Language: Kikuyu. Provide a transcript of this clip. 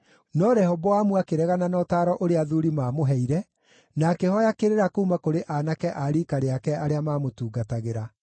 No Rehoboamu akĩregana na ũtaaro ũrĩa athuuri maamũheire, na akĩhooya kĩrĩra kuuma kũrĩ aanake a riika rĩake arĩa maamũtungatagĩra.